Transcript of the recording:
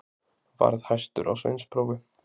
Varð hæstur á sveinsprófi.